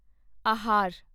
ਆਹਾਰ